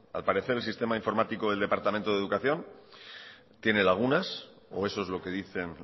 al parecer el sistema informático del departamento de educación tiene lagunas o eso es lo que dicen